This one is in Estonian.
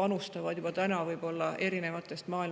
panustab oma tööga sinna maailma erinevatest osadest.